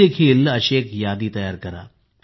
तुम्ही देखील एक यादी तयार करा